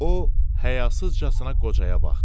O hayasızcasına qocaya baxdı.